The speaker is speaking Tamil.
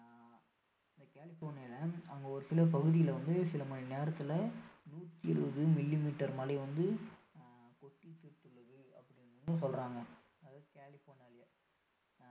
கலிபோர்னியால அங்க ஒரு சில பகுதியில வந்து சில மணி நேரத்துல நூறு இருபது millimeter மழை வந்து கொட்டி தீர்த்துள்ளது அப்படின்னு வந்து சொல்றாங்க அதாவது கலிபோர்னியாலயே